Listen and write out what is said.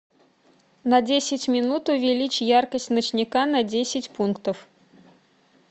на десять минут увеличь яркость ночника на десять пунктов